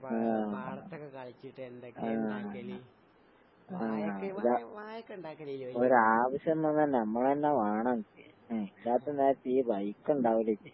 ആഹ് ആഹ് ആഹ് ഒരാ ഒരാവശ്യം വന്നാ നമ്മളെന്നെ വേണം. എഹ് ഇല്ലാത്ത നേരത്ത് ഈ വഴിക്കിണ്ടാവില്ല ഇജ്ജ്.